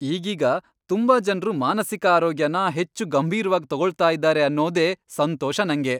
ಈಗೀಗ ತುಂಬಾ ಜನ್ರು ಮಾನಸಿಕ ಆರೋಗ್ಯನ ಹೆಚ್ಚು ಗಂಭೀರ್ವಾಗ್ ತಗೊಳ್ತಾ ಇದಾರೆ ಅನ್ನೋದೇ ಸಂತೋಷ ನಂಗೆ.